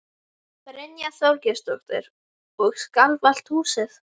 Brynja Þorgeirsdóttir: Og skalf allt húsið?